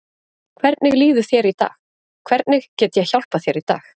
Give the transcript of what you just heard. Hvernig líður þér í dag, hvernig get ég hjálpað þér í dag?